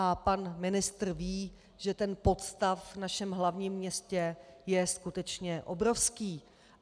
A pan ministr ví, že ten podstav v našem hlavním městě je skutečně obrovský.